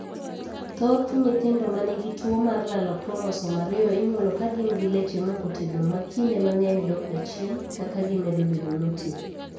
Thoth nyithindo ma nigi tuowo mar lalo kromosom ariyo inyuolo ka gin gi leche mokotegno ma kinde mang'eny dokga chien kaka gimedo bedo moti.